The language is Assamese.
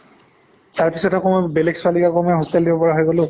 তাৰ পিছত আকৌ মই বেলেগ ছোৱালীক আকৌ মই hostel দিব পৰা হৈ গʼলো